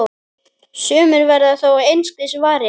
Sumir verða þó einskis varir.